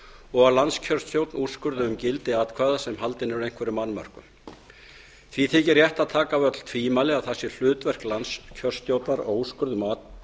og að landskjörstjórn úrskurði um gildi atkvæða sem haldin eru einhverjum annmörkum því þykir rétt að taka af öll tvímæli að það sé hlutverk landskjörstjórnar á úrskurði um